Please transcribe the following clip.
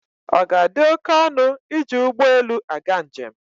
Ọ ga-adị oké ọnụ iji ụgbọ elu aga njem?